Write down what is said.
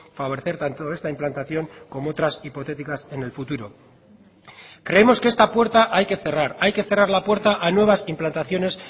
favorecer tanto esta implantación como otras hipotéticas en el futuro creemos que esta puerta hay que cerrar hay que cerrar la puerta a nuevas implantaciones